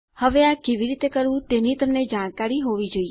હવે આ કેવી રીતે કરવું તેની તમને જાણકારી હોવી જોઈએ